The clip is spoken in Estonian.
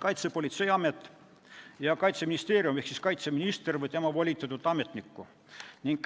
Kaitsepolitseiametit ja Kaitseministeeriumi ehk kaitseministrit või tema volitatud ametnikku.